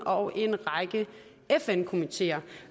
og en række fn komiteer